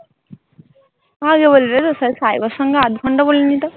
আগে বলবে তো তাহলে সাইবার সঙ্গে আধ ঘন্টা বলে নিতাম।